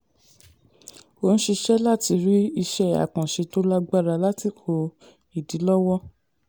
ó ń ṣiṣẹ́ láti ri isẹ́ àkànṣe tó lágbára lásìkò ìdílọ́wọ́.